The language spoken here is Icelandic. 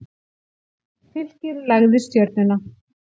Fylkir lagði Stjörnuna